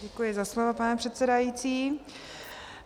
Děkuji za slovo, pane předsedající.